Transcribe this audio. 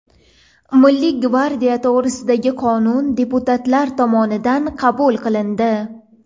Milliy gvardiya to‘g‘risidagi qonun deputatlar tomonidan qabul qilindi.